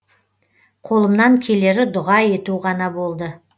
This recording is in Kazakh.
қолымнан келері дұға ету ғана болды